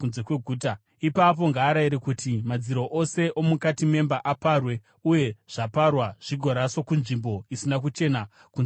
Ipapo ngaarayire kuti madziro ose omukati memba aparwe uye zvaparwa zvigoraswa kunzvimbo isina kuchena kunze kweguta.